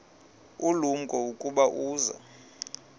ulumko ukuba uza